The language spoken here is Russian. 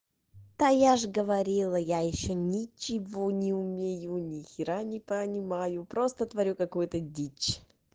да я же говорила я ещё ничего не умею нехера не понимаю просто твою какую-то дичь